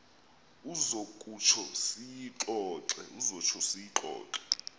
uza kutsho siyixoxe